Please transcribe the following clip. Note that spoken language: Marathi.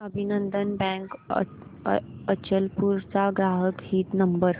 अभिनंदन बँक अचलपूर चा ग्राहक हित नंबर